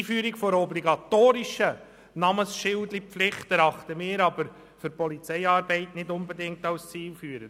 Die Einführung einer obligatorischen Namensschilderpflicht erachten wir aber für die Polizeiarbeit nicht unbedingt als zielführend.